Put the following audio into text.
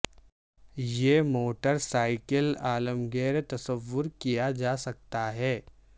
یہ motorcycle عالمگیر تصور کیا جا سکتا ہے